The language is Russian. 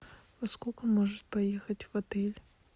во сколько может поехать в отель